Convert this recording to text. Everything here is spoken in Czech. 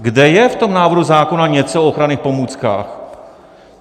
Kde je v tom návrhu zákona něco o ochranných pomůckách?